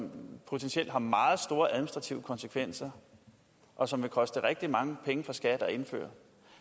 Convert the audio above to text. potentielt har meget store administrative konsekvenser og som vil koste rigtig mange penge for skat